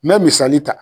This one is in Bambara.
N bɛ misali ta